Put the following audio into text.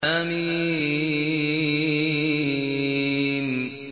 حم